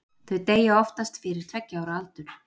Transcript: þau deyja oftast fyrir tveggja ára aldur